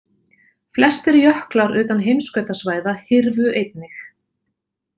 Flestir jöklar utan heimskautasvæða hyrfu einnig.